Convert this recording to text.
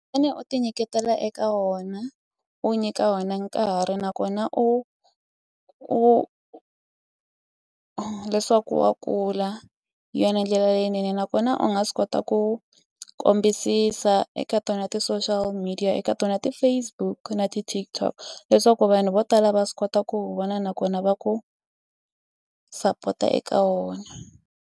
u ti nyiketela eka wona u nyika wena nkarhi nakona u u leswaku wa kula hi yona ndlela leyinene nakona u nga swi kota ku ku kombisisa eka tona ti-social media eka tona ti-Facebook na ti-TikTok leswaku vanhu vo tala va swi kota ku wu vona nakona va ku sapota eka wona.